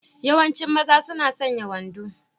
Yawancin mazan suna sanya wando.